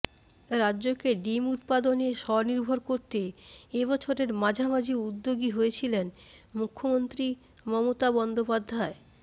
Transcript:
রাজ্যকে ডিম উত্পাদনে স্বনির্ভর করতে এ বছরের মাঝামাঝি উদ্যোগী হয়েছিলেন মুখ্যমন্ত্রী মমতা বন্দ্যোপাধ্যায়